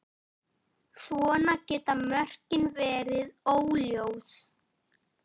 Svona geta mörkin verið óljós.